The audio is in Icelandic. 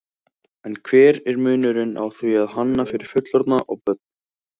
En hver er munurinn á því að hanna fyrir fullorðna og börn?